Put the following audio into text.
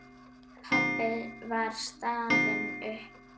Pabbi var staðinn upp.